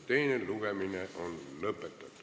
Teine lugemine on lõpetatud.